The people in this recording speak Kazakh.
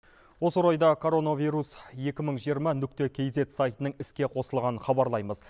осы орайда коронавирус екі мың жиырма нүкте кейзет сайтының іске қосылғанын хабарлаймыз